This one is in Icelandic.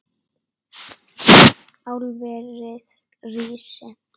Álverið rísi!